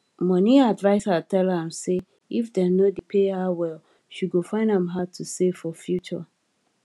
money adviser tell am say if dem no dey pay her well she go find am hard to save for future